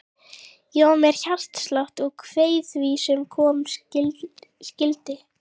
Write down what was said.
Ég var með hjartslátt og kveið því sem koma skyldi.